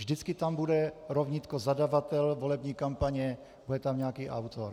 Vždycky tam bude rovnítko zadavatel volební kampaně, bude tam nějaký autor.